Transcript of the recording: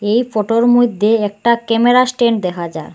এই ফটোর মইদ্যে একটা ক্যামেরা স্ট্যান্ড দেখা যার।